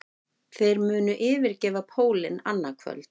Þeir munu yfirgefa pólinn annað kvöld